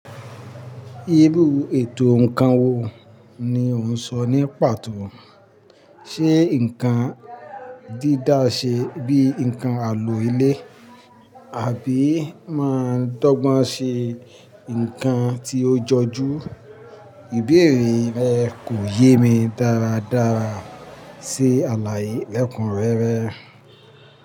Irú ètò nǹkan wo ni ó ń sọ ní pàtó, ṣe nǹkan dídá ṣe bíi nǹkan àlò ilé àbí máa dọ́gbọ́n ṣe nǹkan tí ó jọjú? Ìbéèrè rẹ kò yé mi dáradára sí àlàyé lẹ́kúnrẹ́rẹ́.